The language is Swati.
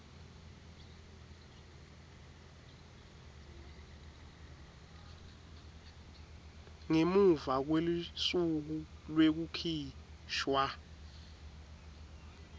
ngemuva kwelusuku lwekukhishwa